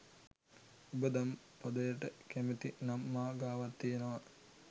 උඹ දම් පදයට කැමති නම් මා ගාවත් තියෙනවා